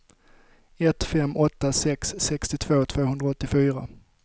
ett fem åtta sex sextiotvå tvåhundraåttiofyra